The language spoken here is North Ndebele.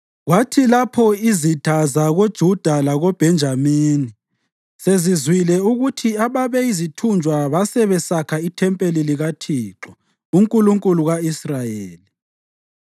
Kwathi lapho izitha zakoJuda lakoBhenjamini sezizwile ukuthi ababeyizithunjwa basebesakha ithempeli likaThixo, uNkulunkulu ka-Israyeli